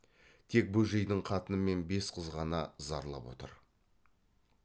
тек бөжейдің қатыны мен бес қыз ғана зарлап отыр